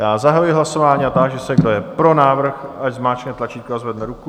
Já zahajuji hlasování a táži se, kdo je pro návrh, ať zmáčkne tlačítko a zvedne ruku.